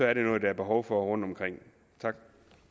er det noget der er behov for rundtomkring tak